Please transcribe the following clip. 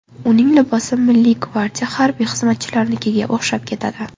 Uning libosi Milliy gvardiya harbiy xizmatchilarnikiga o‘xshab ketadi.